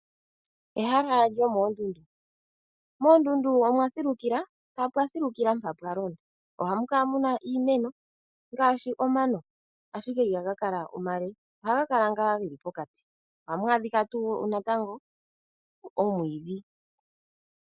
Ehala lyomoondundu, moondundu omwa silukila, mpa pwa silukila mpa pwa londa. Ohamu kala mu na iimeno ngaashi omano ashike ihaga kala omale, ohaga kala ngaa geli pokati, ohamu adhika tuu natango omwiidhi.